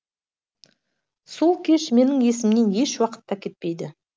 сол кеш менің есімнен еш уақытта кетпейді